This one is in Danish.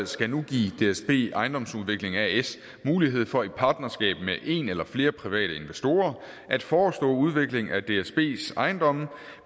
skal nu give dsb ejendomsudvikling as mulighed for i et partnerskab med en eller flere private investorer at forestå udvikling af dsbs ejendomme